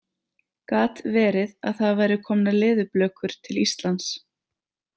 Gat verið að það væru komnar leðurblökur til Íslands?